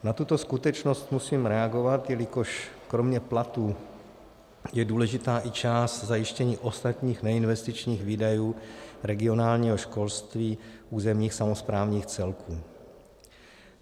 Na tuto skutečnost musím reagovat, jelikož kromě platů je důležitá i část zajištění ostatních neinvestičních výdajů regionálního školství územních samosprávních celků.